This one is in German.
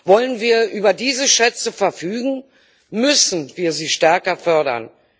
Wollen wir über diese Schätze verfügen, müssen wir sie stärker fördern.